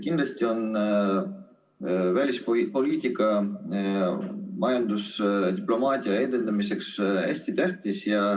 Kindlasti on välispoliitika majandusdiplomaatia edendamiseks hästi tähtis.